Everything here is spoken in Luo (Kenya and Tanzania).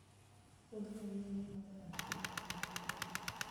muodh ngamia en yo maber ahinya mar yudo yueyo.